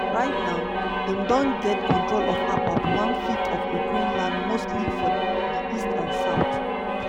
right now dem don get control of about one-fifth of ukraine land mostly for di east and south.